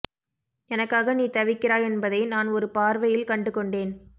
எனக்காக நீ தவிக்கிறாய் என்பதை நான் ஒரு பார்வையில் கண்டுகொண்டேன்